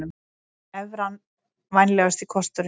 Evran vænlegasti kosturinn